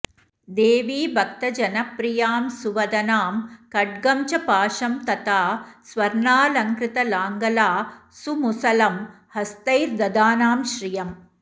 देवी भक्तजनाप्रियां सुवदनां खड्गं च पाशं तथा स्वर्णालंकृतलाङ्गला सुमुसलं हस्तैर्दधानां श्रियम्